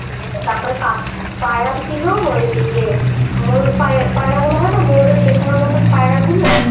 তারপরে কাক পায়রা ছিল ওই ইয়ে ময়ূর পায়রা গুলো হয় না? ময়ূরের পেখমের মতো পায়রা গুলো